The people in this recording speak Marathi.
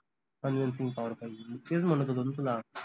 convincing power पाहिजे तेच म्हनत होतो न तुला